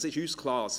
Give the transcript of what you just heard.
Das ist uns klar.